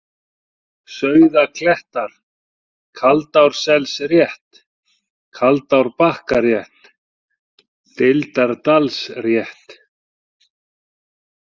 Sauðaklettar, Kaldárselsrétt, Kaldárbakkarétt, Deildardalsrétt